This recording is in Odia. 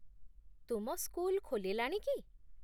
ତୁମ ସ୍କୁଲ ଖୋଲିଲାଣି କି?